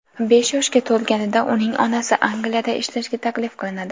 Besh yoshga to‘lganida uning onasi Angliyada ishlashga taklif qilinadi.